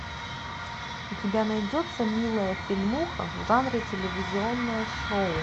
у тебя найдется милая фильмуха в жанре телевизионное шоу